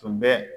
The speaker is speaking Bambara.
Tun bɛ